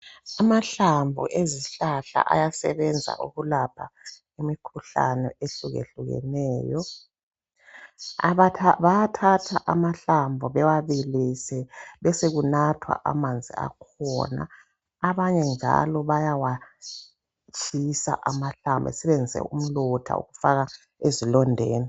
Amahlamvu ezihlahla ayasebenza ukulapha imikhuhlane ehlukehlukeneyo bayathatha amahlamvu bewabilise besekunathwa amanzi akhona abanye njalo bayawatshisa amahlamvu basebenzise umlotha ukufaka ezilondeni.